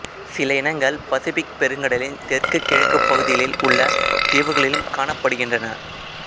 சில இனங்கள் பசிபிக் பெருங்கடலின் தெற்கு கிழக்குப் பகுதிகளில் உள்ள தீவுகளிலும் காணப்படுகின்றன